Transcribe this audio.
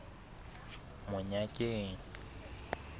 monyakeng